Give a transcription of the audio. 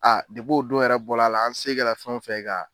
A depi o don yɛrɛ bɔra a la an se ka fɛn fɛn ka